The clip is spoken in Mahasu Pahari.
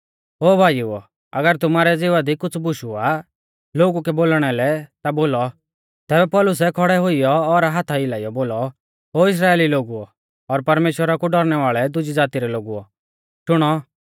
तैबै पौलुसै खौड़ै हुइयौ और हाथा हिलाइयौ बोलौ ओ इस्राइली लोगुओ और परमेश्‍वरा कु डौरनै वाल़े दुजी ज़ाती रै लोगुओ शुणौ